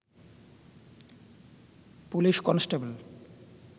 police constable